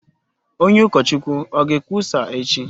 Onye ukọchukwu o ga-ekwusa echi?